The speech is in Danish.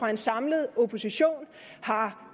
den samlede opposition har